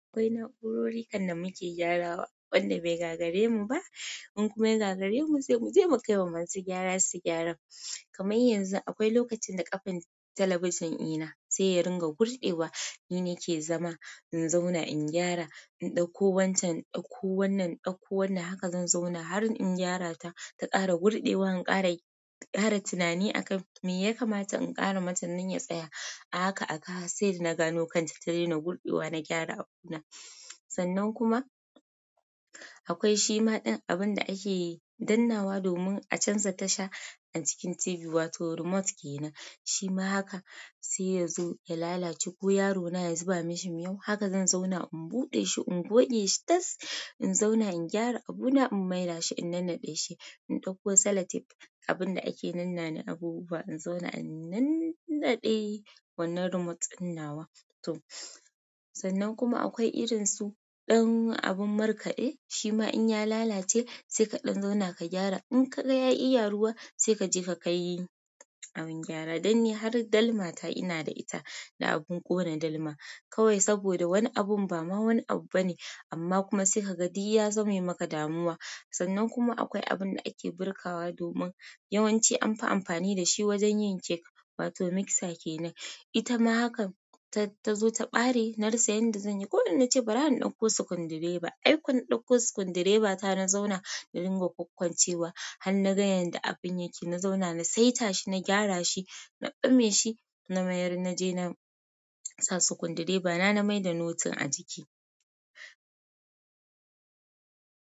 Akwai na'urori kam da muke gyarawa, wanda bai gagare mu ba. In kuma ya gagare mu, sai muje mu kai wa masu gyara su gyara. Kamar yanzu akwai lokacin da ƙafan talabijin ɗina sai ya ringa gurɗewa, ni ne ke zama, in zauna in gyara, in ɗauko wancan, ɗauko wannan, ɗauko wannan, haka zan zauna har in gyara ta, ta ƙara gurɗewa, in ƙara ƙara tunani akan me ya kamata in ƙara mata nan ya tsaya. A haka a haka sai da na gano kan ta ta daina gurɗewa, na gyara abuna. Sannan kuma akwai shima ɗan abun da ake dannawa domin a canza tasha a jikin TV wato remote kenan. Shima haka sai ya zo ya lalace ko yaro na ya zuba mashi miyau, haka zan zauna in buɗe shi, in goge shi tas. In zauna in gyara abuna, in mayar shi, in nannaɗe shi, in ɗauko sell tape abun da ake nannane abubuwa, in zauna a nannaɗe wannan remote ɗin nawa. To sannan kuma akwai irin su ɗan abin markaɗe, shima in ya lalace sai ka ɗan zauna ka gyara. In ka ga ya yi yaruwa sai ka je ka kai abin gyara. Dan ni har dalma ta ina da ita, da abin ƙona dalma kawai saboda wani abun ba ma wani abu bane amma kuma sai ka ga duk ya zame maka damuwa. Sannan kuma akwai abun da ake birkawa domin yawanci an fi amfani da shi wajen yin cake wato mixer kenan. Ita ma haka ta tazo ta ɓare, na rasa yanda zan yi, koda nace bara in ɗauko sukundireba. Ai kun ɗauko sukundireba ta, na zauna na ringa kwakkwancewa har na ga yanda abin yake. Na zauna na saita shi, na gyara shi, na ɓame shi, na mayar na je na sa sukundireba na, na maida notin a jiki.